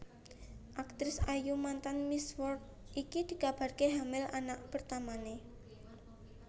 Aktris ayu mantan Miss World iki dikabarke hamil anak pertamane